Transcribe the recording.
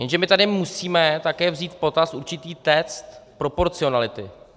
Jenže my tady musíme také vzít v potaz určitý test proporcionality.